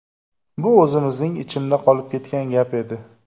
Bu o‘zimning ichimda qolib ketgan gap edi.